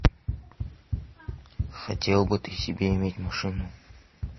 хотел бы ты себе иметь машину